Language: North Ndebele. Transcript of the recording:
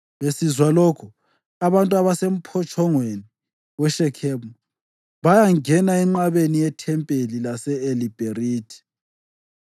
Besizwa lokhu, abantu abasemphotshongweni weShekhemu bayangena enqabeni yethempeli lase-Eli-Bherithi.